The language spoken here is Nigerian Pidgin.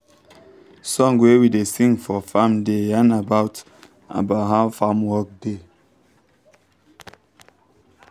song wey we da sing for farm da yan about about how farm work da